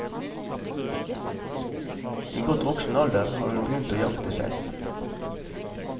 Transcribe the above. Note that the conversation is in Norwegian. I godt voksen alder har hun begynt å jakte selv.